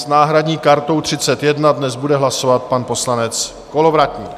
S náhradní kartou 31 bude dnes hlasovat pan poslanec Kolovratník.